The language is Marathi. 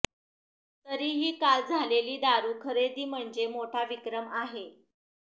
तरीही काल झालेली दारू खरेदी म्हणजे मोठा विक्रम आहे